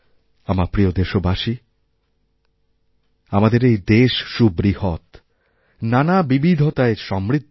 আমার প্রিয়দেশবাসী আমাদের এই দেশ সুবৃহৎ নানা বিবিধতায় সমৃদ্ধ